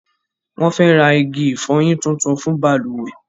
Wọn fẹ rq igi ìfọyín tuntun fun balùwẹ́